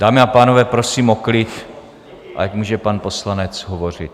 Dámy a pánové, prosím o klid, ať může pan poslanec hovořit.